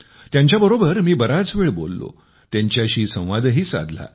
त्यांच्याबरोबर मी बराच वेळ बोललो त्यांच्याशी संवादही साधला